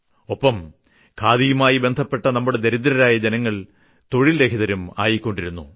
ഒപ്പം ഖാദിയുമായി ബന്ധപ്പെട്ട നമ്മുടെ ദരിദ്രരായ ജനങ്ങൾ തൊഴിൽരഹിതരും ആയിക്കൊണ്ടിരുന്നു